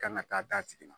Kan ka taa d'a tigi ma